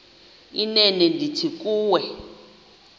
inene ndithi kuwe